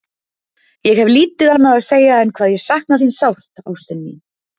Ég hef lítið annað að segja en hvað ég sakna þín sárt, ástin mín.